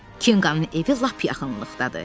Kenqanın evi lap yaxınlıqdadır.